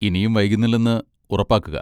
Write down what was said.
ഇനിയും വൈകുന്നില്ലെന്ന് ഉറപ്പാക്കുക.